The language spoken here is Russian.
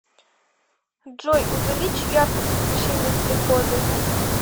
джой увеличь яркость освещения в прихожей